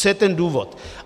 Co je ten důvod?